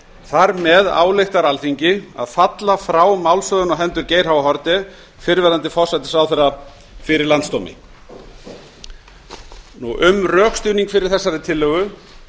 þar með ályktar alþingi að falla frá málshöfðun á hendur geir h haarde fyrrverandi forsætisráðherra fyrir landsdómi um rökstuðning fyrir þessari tillögu